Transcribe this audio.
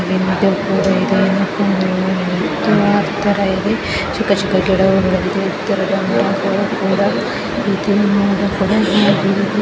ಚಿಕ್ಕ ಚಿಕ್ಕ ಗಿಡಗಳು ಇದೆ ಎತ್ತರದ ಮರಗಳು ಕೂಡ